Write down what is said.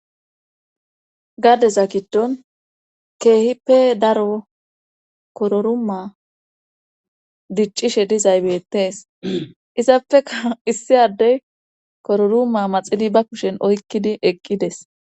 gadeza giddon keehippe daro kororuma diccishe dizay bettees izapfea issi addey kororuma maxini ba kushen oykkidi eqqides